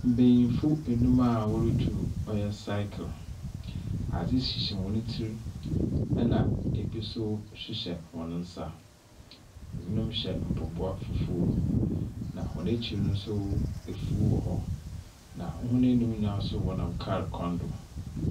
Mbenyimfo anum a wɔretwiw ɔyɛ cycle. Adze hyehyɛ hɔn tsir na bi nso hyehyɛ hɔn nsa. Ebi hyɛ mpɔboa fufuw na hɔn akyir nso, afuw wɔ hɔ na hɔn anumno nyinaa nso wɔnam kar kwan do.